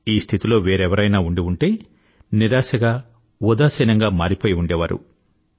ఈ స్థితిలో వేరెవరైనా ఉండి ఉంటే నిరాశగా ఉదాసీనంగా మారిపోయి ఉండేవారు